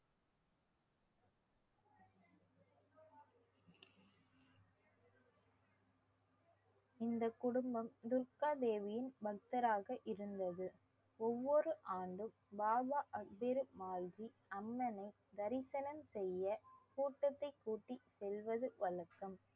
இந்த குடும்பம் துர்க்காதேவியின் பக்தராக இருந்தது ஒவ்வொரு ஆண்டும் பாபா அக்பேரு மால்கி அண்ணனை தரிசனம் செய்யகூட்டத்தை கூட்டி செல்வது வழக்கம்